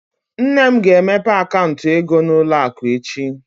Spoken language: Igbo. Nne m ga-emepe akaụntụ ego n'ụlọ akụ echi.